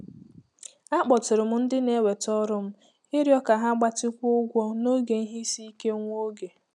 Akpọtụrụ m ndị na-eweta ọrụ m m ịrịọ ka ha gbatịkwuo ụgwọ n'oge ihe isi ike nwa oge.